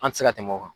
An ti se ka tɛmɛ o kan